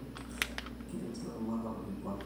Keirem sii ilaramatak orkikwan